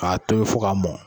K'a tobi fo k'a mɔn